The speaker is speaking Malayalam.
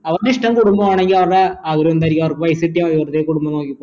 അവരുടെ ഇഷ്ടം കുടുംബാണെങ്കിൽ അവരുടെ ആഗ്രഹം എന്തായിരിക്കും അവർക്ക് പൈസ കിട്ടിയാൽ മതി വെറുതെ കുടുംബം നോക്കി